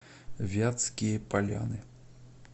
вятские поляны